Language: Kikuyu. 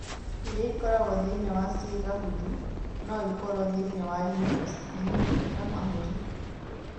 Iria ĩkoragũo thĩinĩ wa ciĩga hũthũ no ikorũo thĩinĩ wa ĩni, splini na mahũri.